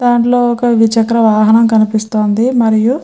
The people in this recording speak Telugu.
దాంట్లో ఒక ద్విచక్ర వాహనం కనిపిస్తుంది మరియు --